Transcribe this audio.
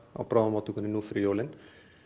á bráðamóttökunni nú fyrir jólin